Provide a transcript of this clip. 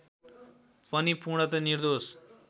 पनि पूर्णत निर्दोष